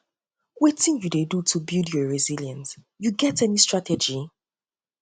wetin you dey do to build your resilience you get any strategy